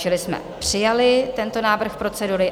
Čili jsme přijali tento návrh procedury.